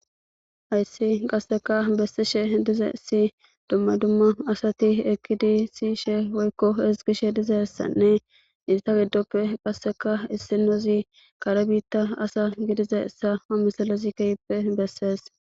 Gaysi qaseka besidhe dizaysi duma duma asati eqidi siyishe woyko ezgishe dizaysanne ista gidope qaseka issinozi kare bitta asa gididaysa ha misilezi kehipe besses